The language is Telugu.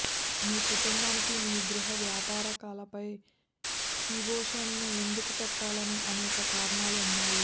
మీ కుటుంబానికి మీ గృహ వ్యాపార కలపై కిబోషను ఎందుకు పెట్టాలనే అనేక కారణాలు ఉన్నాయి